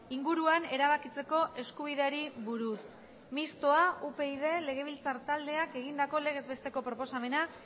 inguruan erabakitzeko eskubideari buruz mistoa upyd legebiltzar taldeak egindako legez besteko proposamena